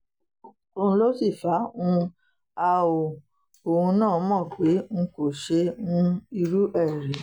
òun ló sì fà um á òun náà mọ́ pé n kò ṣe um irú ẹ̀ rí